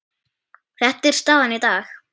Þetta er staðan í dag.